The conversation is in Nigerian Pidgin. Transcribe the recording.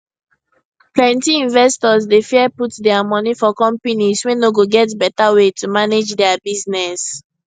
plenty investors dey fear put their moni for companies wey no get better way to manage their business